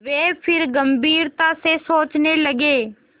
वे फिर गम्भीरता से सोचने लगे